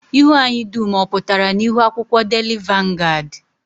Ihu anyị dum ọ pụtara n'ihu akwụkwọ daily vanguard?